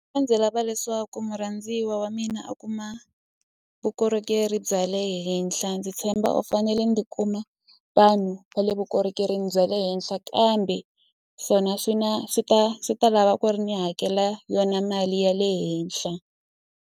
A ndzi lava leswaku murhandziwa wa mina a kuma vukorhokeri bya le henhla ndzi tshemba u fanele ndzi kuma vanhu va le vukorhokerini bya le henhla kambe swona swi na swi ta swi ta lava ku ri ni hakela yona mali ya le henhla.